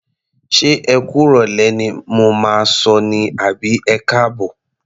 Ṣé ẹ kú ìrọ̀lẹ́ ni mo máa sọ ní àbí ẹkáàbọ̀?